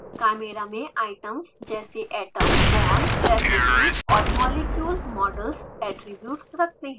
chimera में items जैसे atoms bonds residues और molecule models ऐट्रिब्यूट्स रखते हैं